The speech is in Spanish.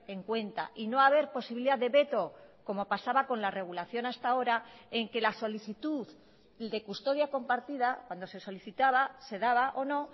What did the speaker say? en cuenta y no haber posibilidad de veto como pasaba con la regulación hasta ahora en que la solicitud de custodia compartida cuando se solicitaba se daba o no